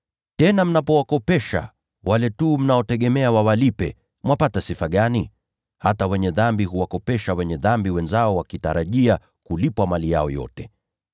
Tena mnapowakopesha wale tu mnaotegemea wawalipe, mwapata sifa gani? Hata ‘wenye dhambi’ huwakopesha ‘wenye dhambi’ wenzao wakitarajia kulipwa mali yao yote.